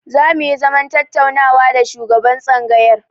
Zamu yi zaman tattaunawa da shugaban tsangayar.